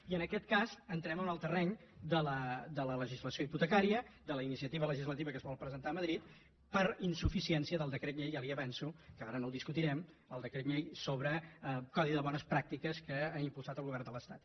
i en aquest cas entrem en el terreny de la legislació hipotecària de la iniciativa legislativa que es vol presentar a madrid per insuficiència del decret llei ja li ho avanço que ara no el discutirem del decret llei sobre codi de bones pràctiques que ha impulsat el govern de l’estat